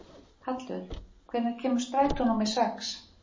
Hallur, hvenær kemur strætó númer sex?